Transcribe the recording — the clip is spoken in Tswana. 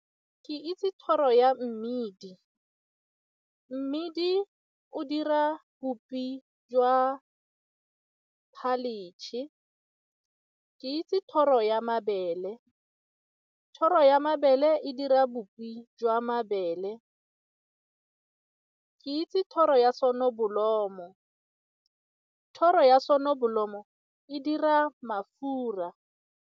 Ke itse thoro ya mmidi, mmidi o dira bupi jwa . Ke itse thoro ya mabele, thoro ya mabele e dira bopi jwa mabele. Ke itse thoro ya thoro ya e dira mafura.